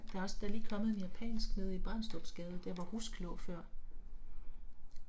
Der er også der er lige kommet en japansk nede i Brandstrupsgade der hvor Rusk lå før